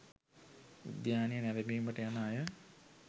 උද්‍යානය නැරඹීමට යන අය